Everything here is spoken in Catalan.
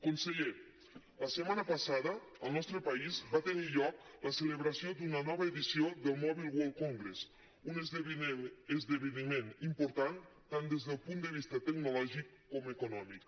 conseller la setmana passada al nostre país va tenir lloc la celebració d’una nova edició del mobile world congress un esdeveniment important tant des del punt de vista tecnològic com econòmic